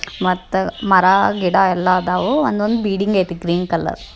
ಮತ್ತೆ ಮರ ಗಿಡ ಎಲ್ಲಾದವು ಎಲ್ಲಾಆದವು ಬಿಲ್ಡಿಂಗ್ ಏತಿ ಗ್ರೀನ್ ಕಲರ್-- -